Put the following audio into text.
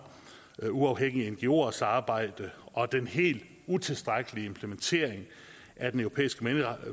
uafhængige ngoers arbejde og den helt utilstrækkelige implementering af den europæiske